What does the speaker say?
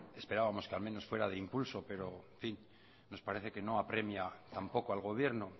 esperábamos que al menos fuera de impulso pero en fin pero nos parece que no apremia tampoco al gobierno